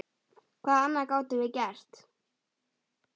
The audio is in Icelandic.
Hvað annað gátum við gert?